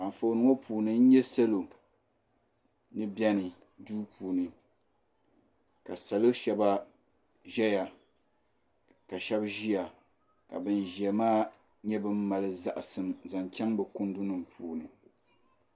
Anfooni ŋɔ puuni nyɛ salo ni bɛni duu puuni ka salo Shɛba zaya ka shɛb ziya ka ban ziya maa yɛ ban mali zaɣisim zaŋ chaŋ bi kundi nim puuni